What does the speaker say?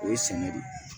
O ye sinɛ de ye